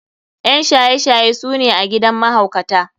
ƴan shaye shaye su ne a gidan mahaukata.